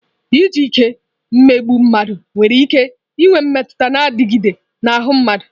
Iji ike emegbu mmadụ nwere ike inwe mmetụta na-adịgide n'ahụ mmadụ.